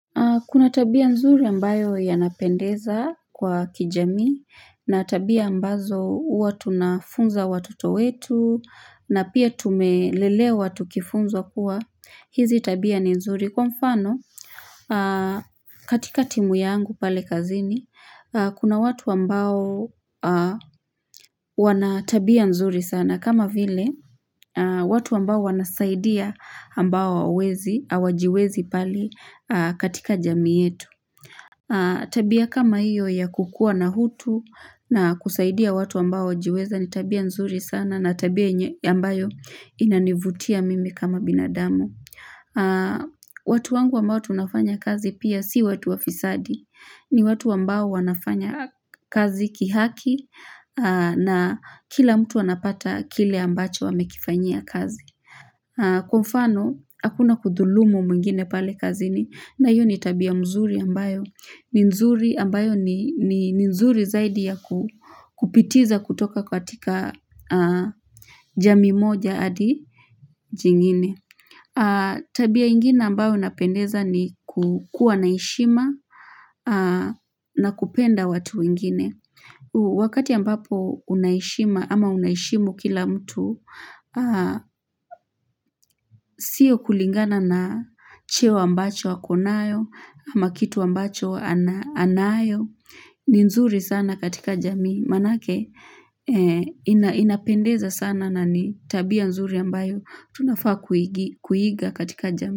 Kuna tabia nzuri ambayo yanapendeza kwa kijamii, na tabia ambazo huwa tunafunza watoto wetu, na pia tumelelewa tukifunzwa kuwa, hizi tabia ni nzuri. Kwa mfano, katika timu yangu pale kazini, kuna watu ambao wana tabia nzuri sana kama vile, watu ambao wanasaidia ambao wawezi, awajiwezi pali katika jamii yetu. Tabia kama hiyo ya kukua na hutu na kusaidia watu ambao wajiweza ni tabia nzuri sana na tabia ambayo inanivutia mimi kama binadamu. Watu wangu ambao tunafanya kazi pia si watu wafisadi. Ni watu ambao wanafanya kazi kihaki na kila mtu anapata kile ambacho amekifanyia kazi. Kwa mfano, hakuna kudhulumu mwingine pale kazini na iyo ni tabia mzuri ambayo ni nzuri ambayo ni nzuri zaidi ya kupitiza kutoka katika jamii moja adi jingine Tabia ingine ambayo inapendeza ni kukua na heshima na kupenda watu wengine Wakati ambapo una heshima ama unaheshimu kila mtu Sio kulingana na cheo ambacho wako nayo ama kitu ambacho anayo ni nzuri sana katika jamii Manake inapendeza sana na ni tabia nzuri ambayo Tunafaa kuiga katika jamii.